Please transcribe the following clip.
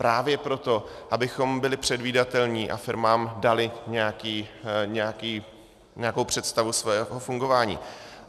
Právě proto, abychom byli předvídatelní a firmám dali nějakou představu svého fungování.